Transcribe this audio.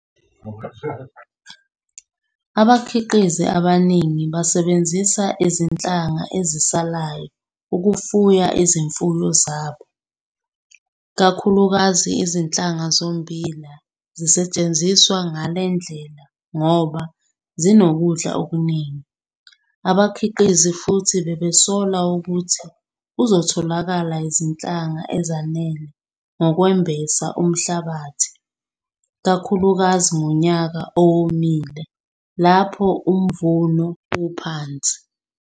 Abakhiqizi abaningi basebenzisa izinhlanga ezisalayo ukufuya izimfuyo zabo, kakhulukazi izinhlanga zommbila zisetshenziswa ngale ndlela ngoba zinokudla okuningi. Abakhiqizi futhi bebesola ukuthi kuzotholakala izinhlangana ezanele zokwembesa umhlabathi, kakhulukazi ngonyaka owomile lapho umvuno uphansi.